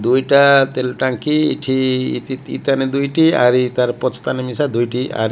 ଦୁଇଟା ତେଲ ଟାଙ୍କି ଏଠି ଦିତାନେ ଦୁଇଟି ଆରି ତାର ପଛତାନେ ମିଶା ଦୁଇଟି ଆରି --